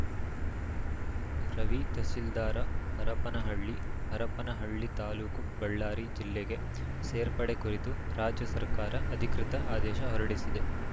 ರವಿ ತಹಶೀಲ್ದಾರ್‌ ಹರಪನಹಳ್ಳಿ ಹರಪನಹಳ್ಳಿ ತಾಲೂಕು ಬಳ್ಳಾರಿ ಜಿಲ್ಲೆಗೆ ಸೇರ್ಪಡೆ ಕುರಿತು ರಾಜ್ಯ ಸರ್ಕಾರ ಅಧಿಕೃತ ಆದೇಶ ಹೊರಡಿಸಿದೆ